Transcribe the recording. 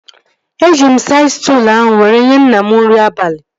Eji m saịd stụlụ ahụ were nyee nna m nri abalị